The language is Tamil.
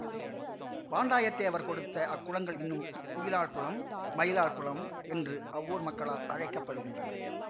வாண்டாயத் தேவர் கொடுத்த அக்குளங்கள் இன்றும் குயிலாள் குளம் மயிலாள் குளம் என்று அவ்வூர் மக்களால் அழைக்க படுகின்றன